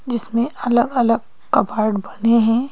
जिसमें अलग-अलग कबर्ड बने हैं।